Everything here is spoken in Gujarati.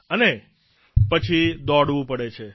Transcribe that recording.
અને પછી દોડવું પડે છે